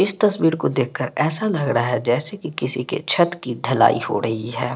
इस तस्वीर को देख के ऐसा लग रहा है जैसे किसी के छत की ढलाई हो रही हैं।